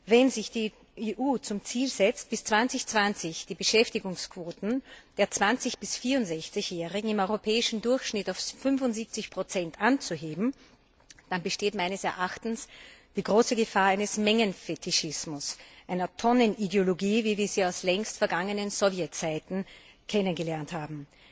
Wenn sich die EU zum Ziel setzt, bis 2020 die Beschäftigungsquoten der 20 bis 64 Jährigen im europäischen Durchschnitt auf 75 anzuheben, dann besteht meines Erachtens die große Gefahr eines Mengenfetischismus, einer Tonnenideologie, wie wir sie aus längst vergangenen Sowjetzeiten kennengelernt haben.